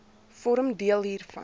vorm deel hiervan